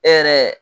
E yɛrɛ